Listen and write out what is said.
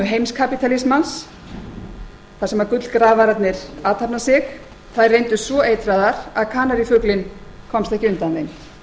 heimskapítalismans þar sem gullgrafararnir athafna sig reyndust svo eitraðar að kanarífuglinn komst ekki undan